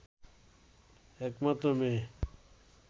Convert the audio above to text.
একমাত্র মেয়ে